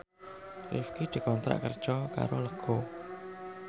Rifqi dikontrak kerja karo Lego